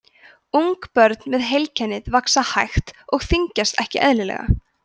ungbörn með heilkennið vaxa hægt og þyngjast ekki eðlilega